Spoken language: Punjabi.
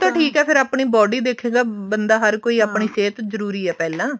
ਉਹ ਤਾਂ ਠੀਕ ਹੈ ਆਪਣੀ body ਦੇਖੁਗਾ ਹਰ ਕੋਈ ਆਪਣੀ ਸਿਹਤ ਜਰੂਰੀ ਹੈ ਪਹਿਲਾਂ